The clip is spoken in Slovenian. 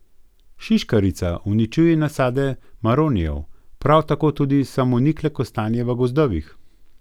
Šiškarica uničuje nasade maronijev, prav tako tudi samonikle kostanje v gozdovih.